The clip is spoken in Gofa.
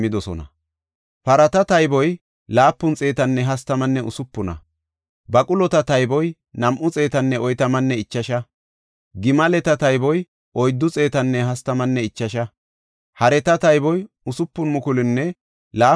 Yarata halaqatape guuthati oosuwas imota immidosona. Biittaa haareysi 8 kilo giraame worqa, 50 distenne 530 kahine ma7ota immis.